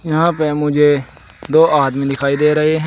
यहां पे मुझे दो आदमी दिखाई दे रहे हैं।